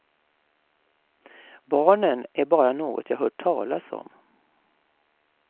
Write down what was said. Barnen är bara något jag hört talas om.